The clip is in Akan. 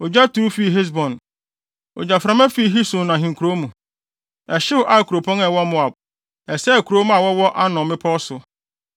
“Ogya turuw fii Hesbon Ogyaframa fii Sihon ahenkurow mu, Ɛhyew Ar kuropɔn a ɛwɔ Moab; ɛsɛee kurowmma a wɔwɔ Arnon mmepɔw so.